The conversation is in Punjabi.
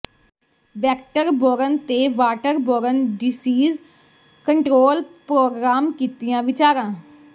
ਵੈਕਟਰ ਬੋਰਨ ਤੇ water borne diseases control programme ਕੀਤੀਆਂ ਵਿਚਾਰਾਂ